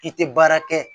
I tɛ baara kɛ